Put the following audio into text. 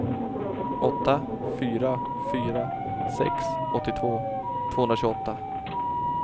åtta fyra fyra sex åttiotvå tvåhundratjugoåtta